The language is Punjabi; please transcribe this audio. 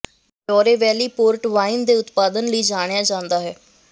ਡੌਰੋ ਵੈਲੀ ਪੋਰਟ ਵਾਈਨ ਦੇ ਉਤਪਾਦਨ ਲਈ ਜਾਣਿਆ ਜਾਂਦਾ ਹੈ